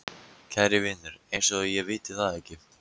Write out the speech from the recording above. Kæri vinur, eins og ég viti það ekki.